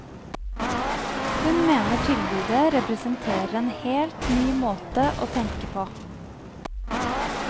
Hun mener tilbudet representerer en helt ny måte å tenke på.